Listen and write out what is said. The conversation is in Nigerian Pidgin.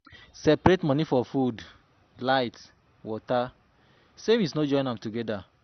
Separate money for food, light, water, savings no join am together